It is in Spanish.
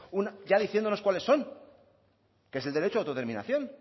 ya diciéndonos cuáles son que es el derecho a autodeterminación